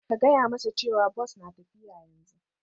Ka gaya masa cewa Bus na tafiya yanzu